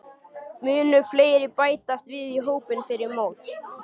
Munu fleiri bætast við hópinn fyrir mót?